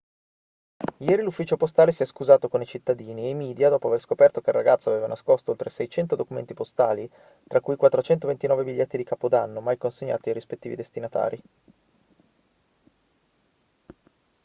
ieri l'ufficio postale si è scusato con i cittadini e i media dopo aver scoperto che il ragazzo aveva nascosto oltre 600 documenti postali tra cui 429 biglietti di capodanno mai consegnati ai rispettivi destinatari